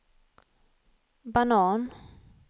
banan